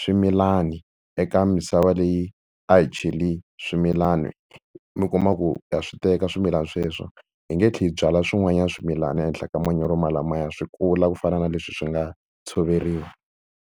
ximilani eka misava leyi a hi cheli swimilani, mi kuma ku ha swi teka swimilana sweswo hi nge tlheli hi byala swin'wanyana swimilana ehenhla ka manyoro malamaya swi kula ku fana na leswi swi nga tshoveriwa.